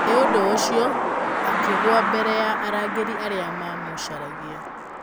Nĩ ũndũ ũcio akĩgũa mbere ya arangĩri arĩa maamũcaragia.